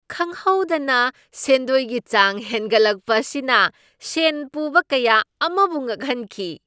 ꯈꯪꯍꯧꯗꯅ ꯁꯦꯟꯗꯣꯏꯒꯤ ꯆꯥꯡ ꯍꯦꯟꯒꯠꯂꯛꯄ ꯑꯁꯤꯅ ꯁꯦꯟ ꯄꯨꯕ ꯀꯌꯥ ꯑꯃꯕꯨ ꯉꯛꯍꯟꯈꯤ꯫